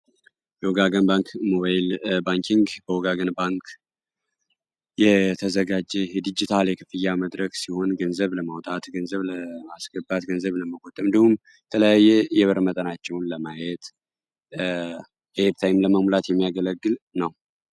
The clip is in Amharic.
የወጋገን ባንክ ሞባይል ባንኪንግ በወጋገን ባንክ የተዘጋጀ የድጅታል ክፍያ መድረክ ሲሆን ገንዘብ ለማውጣት ገንዘብ ለማስገባት ገንዘብ ለመቆጠብ እንዲሁም የተለያዩ የብር መጠናችንን ለማየት ካርድ ለመሙላት የሚያገለግል ነው።